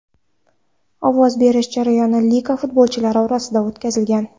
Ovoz berish jarayoni liga futbolchilari orasida o‘tkazilgan.